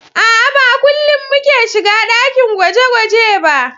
A'a, Ba kullin muke shiga ɗakin gwaje-gwaje ba